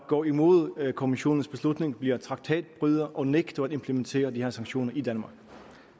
gå imod kommissionens beslutning blive traktatbryder og nægte at implementere de her sanktioner i danmark